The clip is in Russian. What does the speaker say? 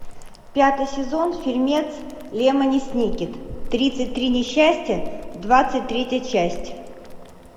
пятый сезон фильмец лемони сникет тридцать три несчастья двадцать третья часть